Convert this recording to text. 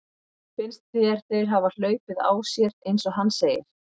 Finnst þér þeir hafa hlaupið á sér eins og hann segir?